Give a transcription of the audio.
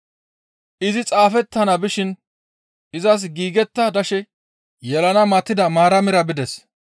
Izi xaafettana bishin izas giigetta dashe yelana matida Maaramira bides.